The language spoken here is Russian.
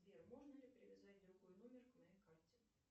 сбер можно ли привязать другой номер к моей карте